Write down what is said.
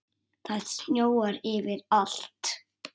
Það snjóar yfir allt.